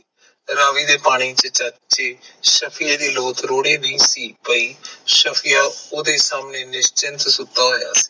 ਰਾਵੀ ਦੇ ਪਾਣੀ ਚ ਚਾਚੇ ਸਫ਼ੀਰ ਦੀ ਲੋਤ ਰੁੜ੍ਹੀ ਨਹੀਂ ਸੀ ਪਈ, ਸਫ਼ੀਰ ਓਹਦੇ ਸਾਮਣੇ ਨਿਸਚਿੰਤ ਸੁਤਾ ਹੋਇਆ ਸੀ